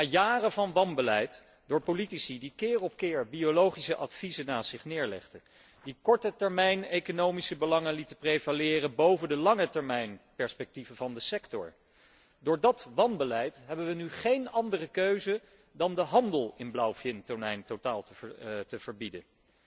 Na jaren van wanbeleid door politici die keer op keer biologische adviezen naast zich neerlegden, die korte termijn economische belangen lieten prevaleren boven de lange termijn perspectieven van de sector, hebben wij nu geen andere keuze dan de handel in blauwvintonijn totaal te verbieden.